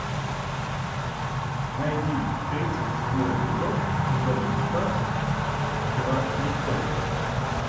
найди тридцать седьмой эпизод сезона пятнадцать игра престолов